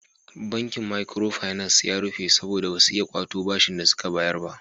Bankin makiro finas ya rufe saboda ba su iya kwato bashin da suka bayar ba.